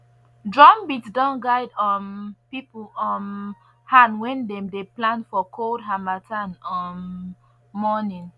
drum beat don guide um people um hand when dem dey plant for cold harmattan um morning